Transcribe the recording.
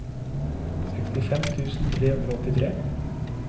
sekstifem tusen tre hundre og åttitre